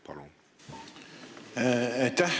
Palun!